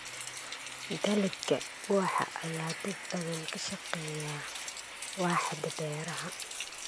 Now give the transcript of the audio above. Dalagga ubaxa ayaa dad badan ka shaqeeya waaxda beeraha.